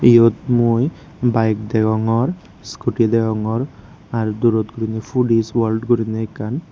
iyot mui iskuti degongor bayek degongor ar durot gurinei foodies world gurinei ekkan.